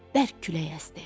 Bərk külək əsdi.